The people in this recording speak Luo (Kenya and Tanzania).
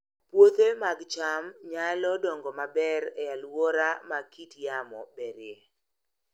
Puothe mag cham nyalo dongo maber e alwora ma kit yamo berie